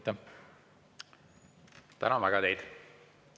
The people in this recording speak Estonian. Tänan teid väga!